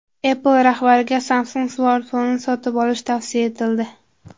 Apple rahbariga Samsung smartfonini sotib olish tavsiya etildi.